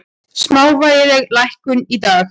Smávægileg lækkun í dag